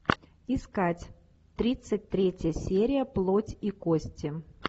искать тридцать третья серия плоть и кости